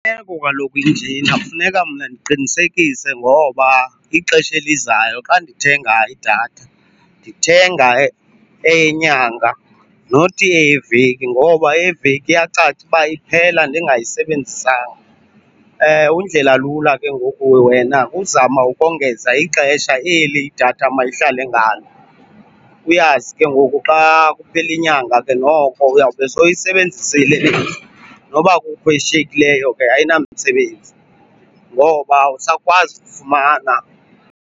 kaloku injena funeka mna ndiqinisekise ngoba ixesha elizayo xa ndithenga idatha ndithenga eyenyanga not eyeveki ngoba eyeveki iyacaca uba iphela ndingayisebenzisanga. Undlela lula ke ngoku wena kuzama ukongeza ixesha eli idatha mayihlale ngalo, uyazi ke ngoku xa kuphela inyanga ke noko uyawube sowuyisebenzisile, noba kukho eshiyekileyo ke ayinamsebenzi ngoba awusakwazi uyifumana.